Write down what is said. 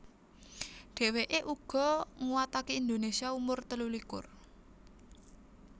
Dheweke uga nguwatake Indonesia umur telulikur